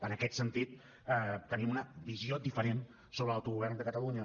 en aquest sentit tenim una visió diferent sobre l’autogovern de catalunya